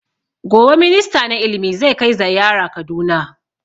Gobe minista na ilimi zai kai zaiyara kaduna